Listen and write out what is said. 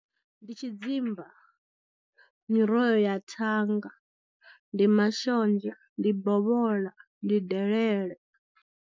Ndi tshidzimba, miroho ya thanga, ndi mashonzha, ndi bovhola, ndi delele.